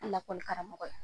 lakɔlikaramɔgɔ ye,